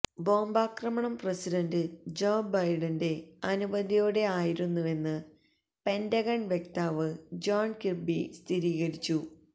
ബോംബാക്രമണം president Joe ബൈഡന്റെ അനുമതിയോടെ ആയിരുന്നുവെന്ന് പെന്റഗണ് വക്താവ് ജോണ് കിര്ബി സ്ഥിരീകരിച്ചു